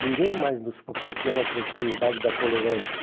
Ninguém mais nos proporciona a oportunidade da tolerância.